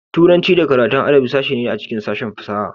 Turanci da karatun adabi sashe ne a cikin sashen fasaha.